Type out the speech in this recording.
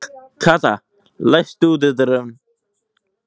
Kata, læstu útidyrunum.